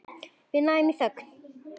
Við snæðum í þögn.